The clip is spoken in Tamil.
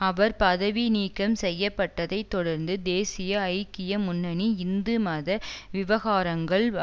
அவர் பதவி நீக்கம் செய்ய பட்டதை தொடர்ந்து தேசிய ஐக்கிய முன்னணி இந்து மத விவகாரங்கள்